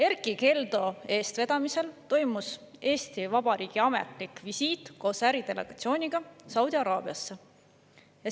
Erkki Keldo eestvedamisel toimus Eesti Vabariigi ametlik visiit Saudi Araabiasse koos äridelegatsiooniga.